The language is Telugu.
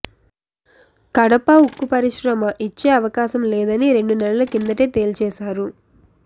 కడప ఉక్కు పరిశ్రమ ఇచ్చే అవకాశం లేదని రెండు నెలల కిందటే తేల్చేశారు